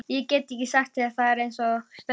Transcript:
Ég get ekki sagt þér það eins og stendur.